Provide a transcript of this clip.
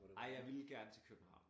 Ej jeg ville gerne til København